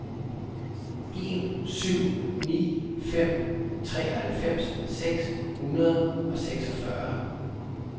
en syv ni fem treoghalvfems seks hundrede og seksogfyrre